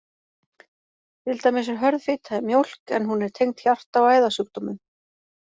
Til dæmis er hörð fita í mjólk, en hún er tengd hjarta- og æðasjúkdómum.